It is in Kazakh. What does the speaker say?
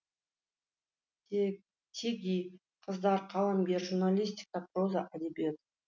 теги қыздар қаламгер журналистика проза әдебиет